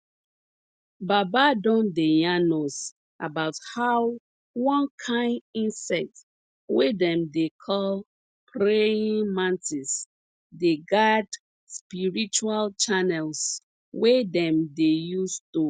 baba don dey yarn us about how one kain insect wey dem dey call praying mantis dey guard spiritual channels wey dem dey use to